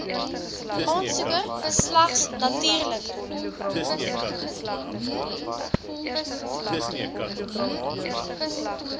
aansoeker slegs natuurlike